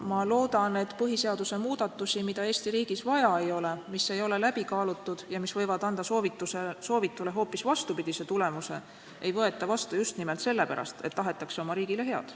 Ma loodan, et põhiseaduse muudatusi, mida Eesti riigis vaja ei ole, mis ei ole läbi kaalutud ja mis võivad anda soovitule hoopis vastupidise tulemuse, ei võeta vastu just nimelt sellepärast, et tahetakse oma riigile head.